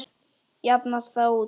Jafnast það út?